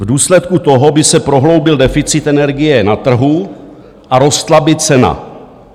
V důsledku toho by se prohloubil deficit energie na trhu a rostla by cena.